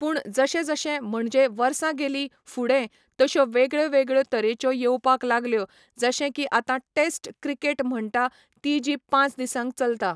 पूण जशें जशें म्हणजे वर्सां गेली फुडें तश्यो वेगळ्यो वेगळ्यो तरेच्यो येवपाक लागल्यो जशें की आतां टेस्ट क्रिकेट म्हणटा ती जी पांच दिसांक चलतां